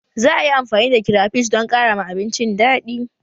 Za a yi amfani da kirafish don ƙara ma abincin daɗi